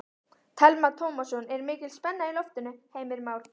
Telma Tómasson: Er mikil spenna í loftinu Heimir Már?